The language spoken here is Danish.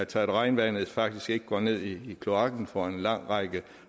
til at regnvandet faktisk ikke går ned i kloakken for en lang række